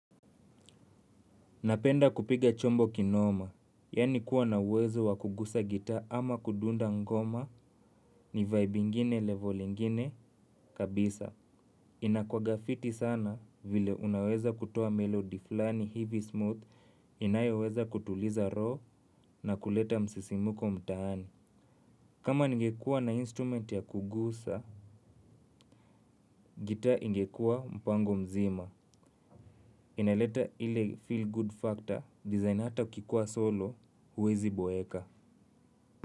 Napenda kupiga chombo kinoma, yaani kuwa na uwezo wa kugusa gitaa ama kudunda ngoma ni vibe ingine level ingine kabisa. Inakuanga fiti sana vile unaweza kutoa melody flani hivi smooth, inayoweza kutuliza roho na kuleta msisimuko mtaani. Kama ningekuwa na instrument ya kugusa, gitaa ingekuwa mpango mzima. Inaleta ile feel good factor, design hata ukikuwa solo, huwezi boeka.